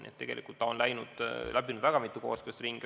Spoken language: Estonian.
Nii et tegelikult on ta läbinud väga mitu kooskõlastusringi.